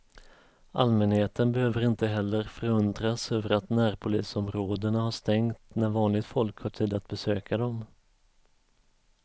Allmänheten behöver inte heller förundras över att närpolisområdena har stängt när vanligt folk har tid att besöka dem.